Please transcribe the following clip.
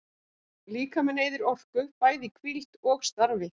Líkaminn eyðir orku, bæði í hvíld og starfi.